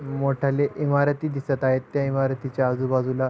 मोठाले इमारती दिसत आहेत त्या इमारतीच्या आजूबाजूला--